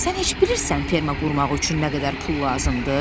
Sən heç bilirsən ferma qurmaq üçün nə qədər pul lazımdır?